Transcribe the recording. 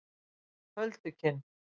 Köldukinn